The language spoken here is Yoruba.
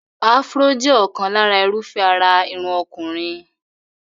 Afro jẹ́ ọ̀kan lára irúfẹ́ àrà irun ọkùnrin.